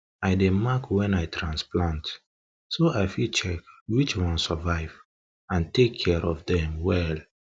i dey mark when i transplant so i fit check which one survive and take care of dem well